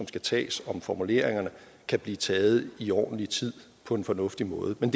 skal tages om formuleringerne kan blive taget i ordentlig tid og på en fornuftig måde men